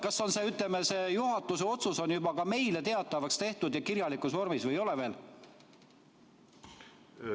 Kas see juhatuse otsus on meile teatavaks tehtud kirjalikus vormis või ei ole veel?